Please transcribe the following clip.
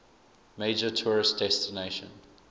major tourist destination